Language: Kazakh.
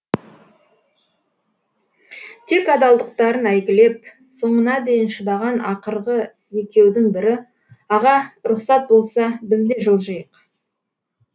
тек адалдықтарын әйгілеп соңына дейін шыдаған ақырғы екеудің бірі аға рұқсат болса біз де жылжиық